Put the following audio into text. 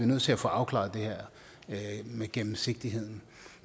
nødt til at få afklaret det her med gennemsigtigheden